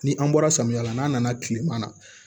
Ni an bɔra samiya la n'a nana kilema na